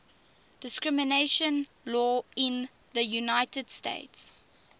discrimination law in the united states